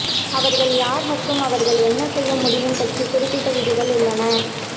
அவர்கள் யார் மற்றும் அவர்கள் என்ன செய்ய முடியும் பற்றி குறிப்பிட்ட விதிகள் உள்ளன